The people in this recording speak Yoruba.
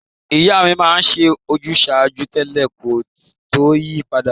Ìyá mi ma n se ojúsàjúú tẹ́lẹ̀ ko to yi padà